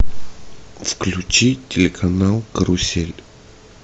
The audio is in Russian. включи телеканал карусель